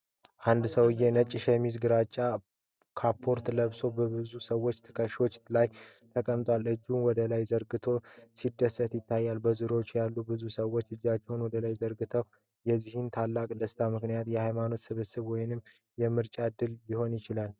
አንድ ሰውዬ ነጭ ሸሚዝና ግራጫ ካፖርት ለብሶ በብዙ ሰዎች ትከሻ ላይ ተቀምጧል። እጆቹን ወደላይ ዘርግቶ ሲደሰት ይታያል፤ በዙሪያው ያሉት ብዙ ሰዎችም እጃቸውን ወደላይ ዘርግተዋል። የዚህ ትልቅ ደስታ ምክንያት የሃይማኖት ስብሰባ ወይስ የምርጫ ድል ሊሆን ይችላል?